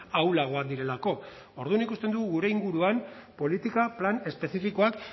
ahulagoak direlako orduan ikusten dugu gure inguruan politika plan espezifikoak